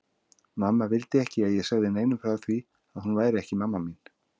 Mamma vildi ekki að ég segði neinum frá því að hún væri ekki mamma mín.